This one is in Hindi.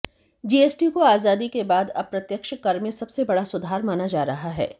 जीएसटी को आजादी के बाद अप्रत्यक्ष कर में सबसे बड़ा सुधार माना जा रहा है